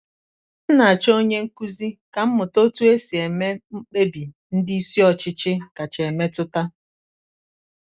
m na-achọ onye nkuzi ka m mụta otu esi eme mkpebi ndị isi ọchịchị kacha emetụta.